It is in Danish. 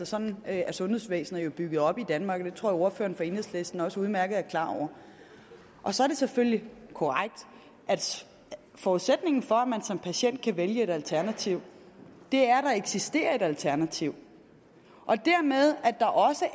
sådan er sundhedsvæsenet jo bygget op i danmark og det tror jeg ordføreren fra enhedslisten også udmærket er klar over så er det selvfølgelig korrekt at forudsætningen for at man som patient kan vælge et alternativ er at der eksisterer et alternativ og dermed at der også